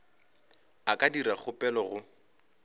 a ka dira kgopelo go